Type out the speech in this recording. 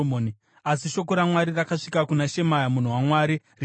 Asi shoko raMwari rakasvika kuna Shemaya munhu waMwari richiti,